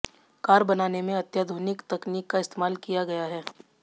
car बनाने में अत्याधुनिक तकनीक का इस्तेमाल किया गया है